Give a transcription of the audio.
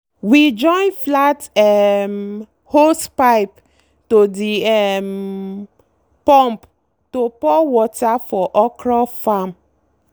we join flat um hosepipe to the um pump to pour water for okra farm.